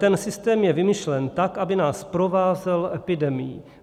Ten systém je vymyšlen tak, aby nás provázel epidemií.